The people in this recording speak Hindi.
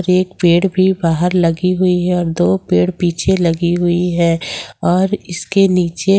एक पेड़ भी बाहर लगी हुई है और दो पेड़ पीछे लगी हुई है और इसके नीचे--